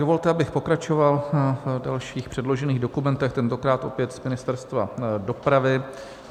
Dovolte, abych pokračoval v dalších předložených dokumentech, tentokrát opět z Ministerstva dopravy.